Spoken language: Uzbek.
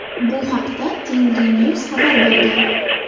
Bu haqda Tengrinews xabar bergan .